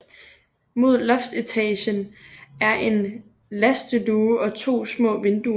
Mod loftsetagen er en lasteluge og to små vinduer